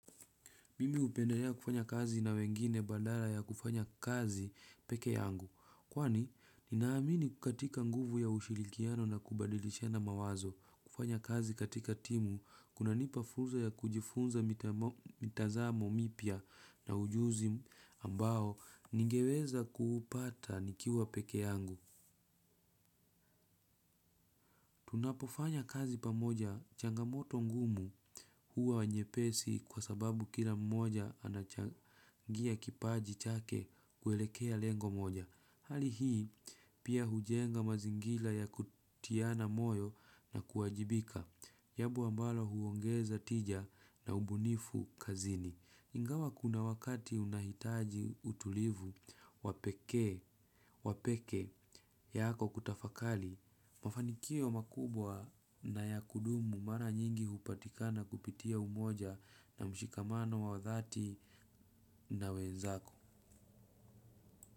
Mimi upendelea kufanya kazi na wengine badala ya kufanya kazi peke yangu. Kwani, ninaamini katika nguvu ya ushirikiano na kubadilishana mawazo kufanya kazi katika timu. Kunanipa funzo ya kujifunza mitazamo mipya na ujuzi ambao ningeweza kuupata nikiwa peke yangu. Tunapofanya kazi pamoja changamoto ngumu huwa nyepesi kwa sababu kila mmoja anachangia kipaji chake kuelekea lengo moja. Hali hioi pia hujenga mazingila ya kutiana moyo na kuajibika. Jambo ambalo huongeza tija na ubunifu kazini. Ingawa kuna wakati unahitaji utulivu wapekee wa pekeako kutafakali mafanikio makubwa na ya kudumu mara nyingi hupatikana kupitia umoja na mshikamano wa dhati na wenzako.